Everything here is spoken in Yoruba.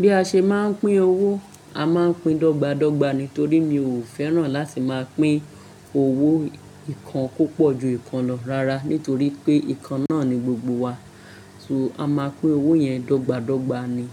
Bí a ṣe máa ń pín owó, a máa ń pín dọ́gba dọ́gba nítorí mi ò fẹ́ràn láti máa pín owó ìkan púpọ̀ ju ìkan lọ rara nítorí pé ìkan náà ni gbogbo wa. So a máa pín owó yẹn dọ́gba dọ́gba ni.